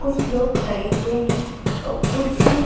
कुछ लोग खड़े हुए हैं और कुछ--